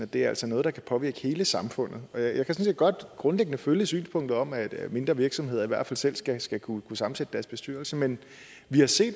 det er altså noget der kan påvirke hele samfundet jeg kan sådan set godt grundlæggende følge synspunktet om at at mindre virksomheder i hvert fald selv skal skal kunne sammensætte deres bestyrelse men vi har set